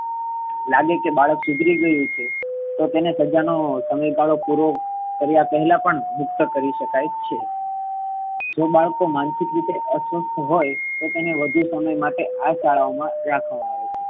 લાગે કે બાળક સુધરી ગયુ છે. તો તેને સજા નોસમયગાળો પૂરો કર્યા પેહલા પણ મુક્ત કરી શકાય છે. જે બાળકો માનસિક રીતે અસ્વસ્થ હોઈ તો તેને વધુ સમય માટે આ શાળાઓ મા રાખવામા આવે છે.